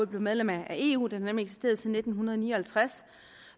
blev medlemmer af eu den har nemlig eksisteret siden nitten ni og halvtreds